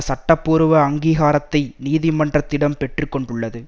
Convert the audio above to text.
சட்டப்பூர்வ அங்கீகாரத்தை நீதிமன்றத்திடம் பெற்றுக்கொண்டுள்ளது